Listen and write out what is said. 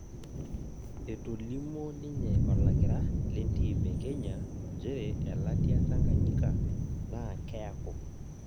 Etolimuo ninye olakira lentim e kenya njere elatia Tanganyika naa kiaku